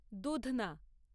দুধনা